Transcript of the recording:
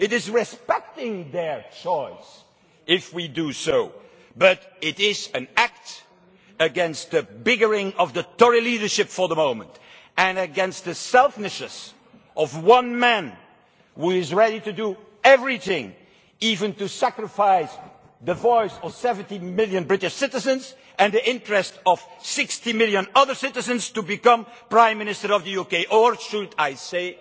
It is respecting their choice if we do so, but it is an act against the current bickering of the Tory leadership and against the selfishness of one man, who is ready to do everything even to sacrifice the voice of 17 million British citizens and the interest of 60 million other citizens to become prime minister of the UK or should I say,